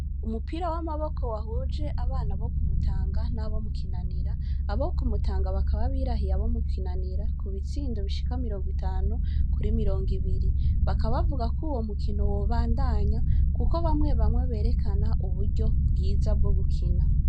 Umupira w'amaboko wahuje abana bo ku Mutanga n'abo mu Kinanira, abo ku Mutanga bakaba birahiye abo mu Kinanira, ku bitsindo bishika mirongo itanu, kuri mirongo ibiri. Bakaba bavuga ko uwo mukino wobandanya, kuko bamwe bamwe berekana uburyo bwiza bwo gukina.